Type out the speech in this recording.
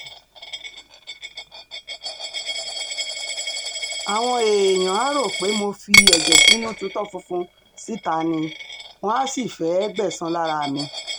àwọn èèyàn um áà rò pé mo fi ẹ̀jẹ̀ sínú tutọ́ funfun síta um ni wọ́n àá sì fẹ́ẹ́ gbẹ̀san lára mi